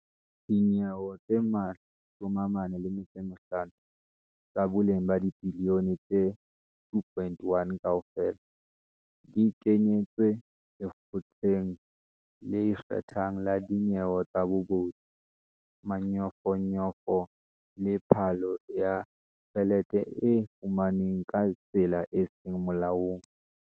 Dinyewe tse 45, tsa boleng ba dibiliyone tse R2.1 kaofela, di kentswe Lekgotleng le Ikgethang la Dinyewe tsa Bobodu, Manyofonyofo le Phallo ya Tjhelete e fumanweng ka tsela e seng Molaong.